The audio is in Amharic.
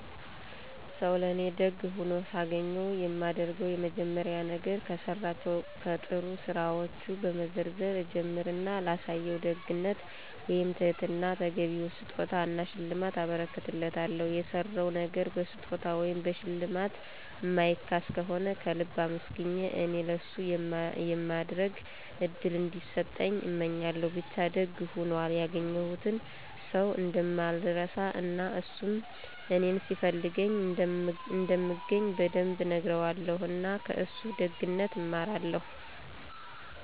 ሰው ለእኔ ለደግ ሆኖ ሳገኘው የማደርገው የመጀመሪያ ነገር፤ ከሠራቸው ከጥሩ ስራወቹን በመዘርዘር እጀምር እና ላሳየው ደግነት ወይም ትህትና ተገቢውን ስጦታ እና ሽልማት አበረክትለታለሁ። የሠራው ነገር በስጦታ ወይም በሽልማት ማይካስ ከሆነ ከልብ አመስግኘ እኔ ለሱ የማድረግ እድል እንዲሰጠኝ እመኛለሁ። ብቻ ደግ ሆኖል ያገኘሁትን ሠው እንደማልረሳው እና እሱም እኔን ሲፈልገኝ እንደምገኝ በደንብ እነግረዋለሁ። እና ከእሱ ደግነት እማራለሁ።